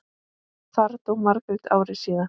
Þar dó Margrét ári síðar.